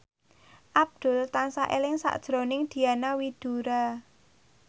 Abdul tansah eling sakjroning Diana Widoera